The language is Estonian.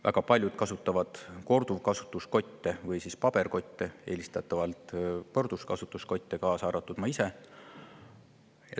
Väga paljud kasutavad korduvkasutuskotte või paberkotte, eelistatavalt korduvkasutuskotte, nagu ma ise.